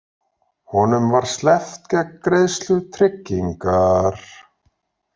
Honum var sleppt gegn greiðslu tryggingar